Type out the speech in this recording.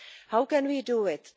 How can we do it?